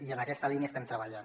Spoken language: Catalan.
i en aquesta línia estem treballant